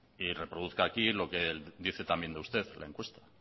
y reproduzca aquí lo que dice también de usted la encuesta